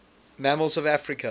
mammals of africa